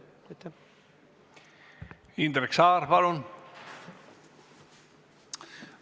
Indrek Saar, palun!